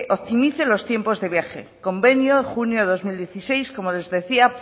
optimice los tiempos de viaje convenio junio de dos mil dieciséis como les decía